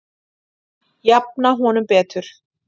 Jafna honum betur